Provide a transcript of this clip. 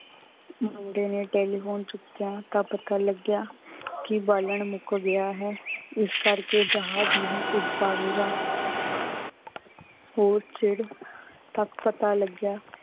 ਮੁੰਡੇ ਨੇ telephone ਚੁਕਿਆ ਤਾਂ ਪਤਾ ਲਗਯਾ ਕੀ ਬਾਲਣ ਮੁਕ ਗਯਾ ਹੈ ਇਸ ਕਰ ਕੇ ਜਹਾਜ਼ ਨਹੀਂ ਉਠ ਪਵੇਗਾ। ਤਕ ਪਤਾ ਲੱਗਿਆ